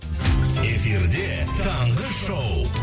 эфирде таңғы шоу